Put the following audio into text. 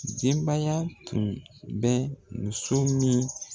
Denbaya tun bɛ muso min